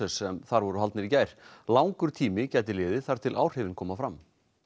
sem þar voru haldnir í gær langur tími gæti liðið þar til áhrifin koma fram